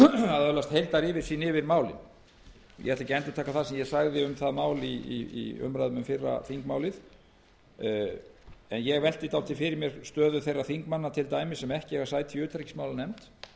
að öðlast heildaryfirsýn yfir málið ég ætla ekki að endurtaka það sem ég sagði um það mál í umræðum um fyrra þingmálið en ég velti fyrir mér stöðu þeirra þingmanna sem ekki eiga sæti í utanríkismálanefnd